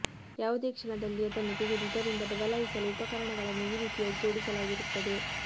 ಯಾವುದೇ ಕ್ಷಣದಲ್ಲಿ ಅದನ್ನು ತೆಗೆದು ಇದರಿಂದ ಬದಲಾಯಿಸಲು ಉಪಕರಣಗಳನ್ನು ಈ ರೀತಿಯ ಜೋಡಿಸಲಾಗಿರುತ್ತದೆ